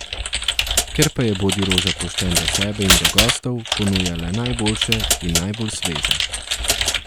Ker pa je Bodiroža pošten do sebe in do gostov, ponuja le najboljše in najbolj sveže.